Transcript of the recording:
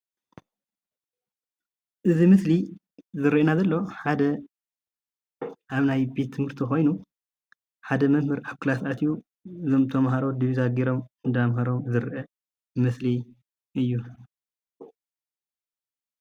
እዚ ምስሊ ዝረአየና ዘሎ ሓደ ኣብ ናይ ቤት ትምህርቲ ኮይኑ ሓደ መምህር ኣብ ክላስ ኣትዩ እዞም ተማሃሮ ድቢዛ ገይሮም እንዳምሀሮም ዝረአ ምስሊ እዩ፡፡